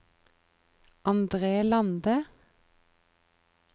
Andre Lande